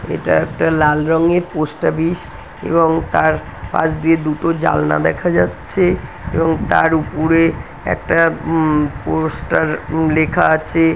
এটা একটা লাল রঙের পোস্ট অফিস এবং তার পাশ দিয়ে দুটো জানলা দেখা যাচ্ছে এবং তার উপুরে একটা উমম পোস্টার উমম লেখা আছে ।